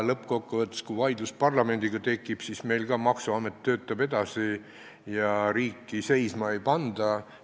Lõppkokkuvõttes, kui tekib vaidlus parlamendiga, siis meil töötab maksuamet edasi ja riiki seisma ei panda.